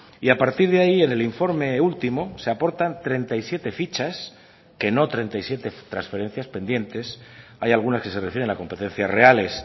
y a partir de ahí en el informe último se aportan treinta y siete fichas que no treinta y siete transferencias pendientes hay algunas que se refieren a competencias reales